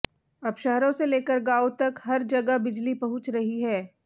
अब शहरों से लेकर गांवों तक हर जगह बिजली पहुंच रही है